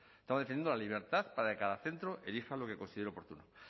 estaba defendiendo la libertad para que cada centro elija lo que considere oportuno